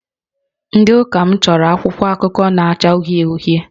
Ndị Ụka m chọrọ akwụkwọ akụkọ na-acha uhie uhie